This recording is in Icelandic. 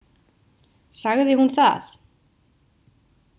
Sagði hún það?